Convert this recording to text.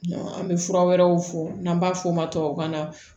An bɛ fura wɛrɛw fɔ n'an b'a fɔ o ma tubabukan na